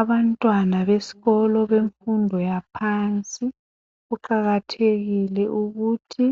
Abantwana besikolo bemfundo yaphansi kuqakathekile ukuthi